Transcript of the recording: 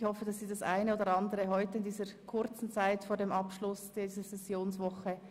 Ich hoffe, dass Sie heute noch das eine oder andere mitbekommen in dieser kurzen Zeit vor dem Abschluss der Sessionswoche.